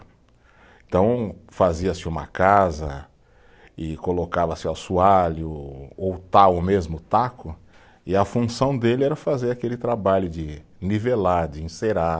Então, fazia-se uma casa e colocava-se o assoalho ou tal, o mesmo taco, e a função dele era fazer aquele trabalho de nivelar, de encerar,